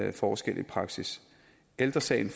en forskel i praksis ældre sagen